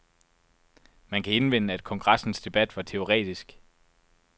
Man kan indvende, at kongressens debat var teoretisk.